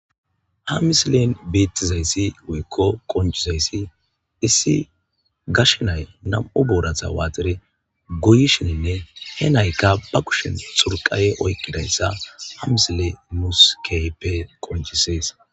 Ha misilen beetizay woyko qoncizay,issi gashe nay nam'u boorata waaxidine goyishenne be kushen xurqafe oykidaysa ha misiley nuus keehippe qinccisees.